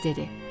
Qız dedi: